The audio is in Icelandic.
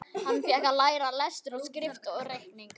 Hann fékk að læra lestur og skrift og reikning.